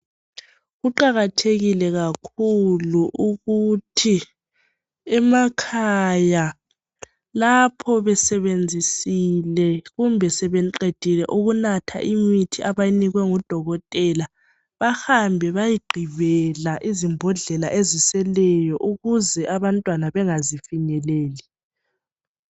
Kuqakathekile kakhulu ukuthi emakhaya, lapho besebeñzisile kumbe sebeqedile ukunatha imithi abayinikwe ngudokotela, bahambe bayegqibela izimbhodlela eziseleyo ukuze abantwana bengazifinyeleli.